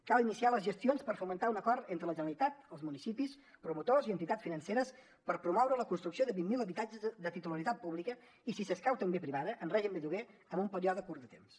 cal iniciar les gestions per fomentar un acord entre la generalitat els municipis promotors i entitats financeres per promoure la construcció de vint mil habitatges de titularitat pública i si escau també privada en règim de lloguer en un període curt de temps